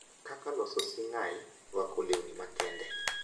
kaka loso sing’ai, rwako lewni makende, .